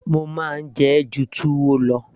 mo máa ń jẹ ẹ́ ju túwó lọ